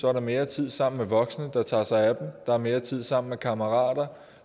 er der mere tid sammen med voksne der tager sig af en der er mere tid sammen med kammerater